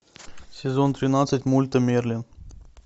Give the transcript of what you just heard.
сезон тринадцать мульта мерлин